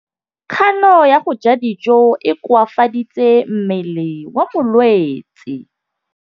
Kganô ya go ja dijo e koafaditse mmele wa molwetse.